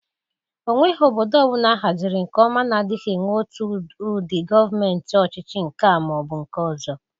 Onweghi obodo ọbụla ahazịrị nke ọma na-adịgị enwe otu ụdị Gọmenti ọchịchị nke a ma ọ bụ nke ọzọ.